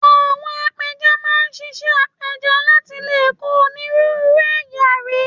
Àwọn apẹja máa ń ṣiṣẹ́ apẹja láti lè kó onírúurú ẹ̀yà rí